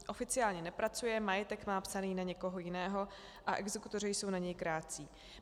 Oficiálně nepracuje, majetek má psaný na někoho jiného a exekutoři jsou na něj krátcí.